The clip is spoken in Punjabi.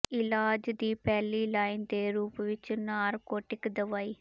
ਇਲਾਜ ਦੀ ਪਹਿਲੀ ਲਾਈਨ ਦੇ ਰੂਪ ਵਿੱਚ ਨਾਰਕੋਟਿਕ ਦਵਾਈ